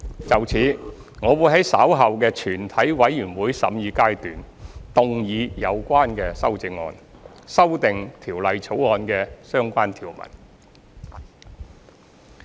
就此，我會在稍後的全體委員會審議階段動議有關修正案，修訂《條例草案》的相關條文。